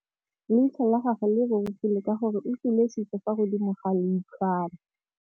Leitlhô la gagwe le rurugile ka gore o tswile sisô fa godimo ga leitlhwana.